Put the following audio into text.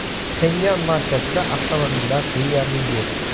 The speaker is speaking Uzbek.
Pxenyan markazida avtomobillar deyarli yo‘q.